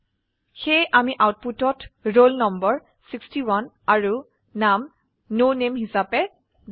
সেয়ে আমি আউটপুটত ৰোল নম্বৰ 61 আৰু নাম ন নামে হিসাবে দেখো